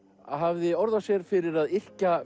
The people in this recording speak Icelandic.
hafði orð á sér fyrir að yrkja